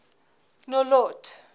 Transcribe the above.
nolloth